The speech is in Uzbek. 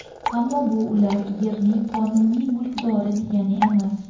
Ammo bu ular yerning qonuniy mulkdori degani emas.